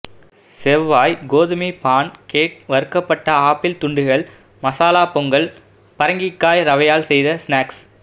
செவ்வாய் கோதுமை pancake வறுக்கப்பட்ட ஆப்பிள் துண்டுகள் மசாலா பொங்கல் பரங்கிக்காய் ரவையால் செய்த ஸ்நாக்ஸ்